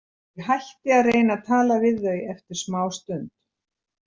Ég hætti að reyna að tala við þau eftir smástund.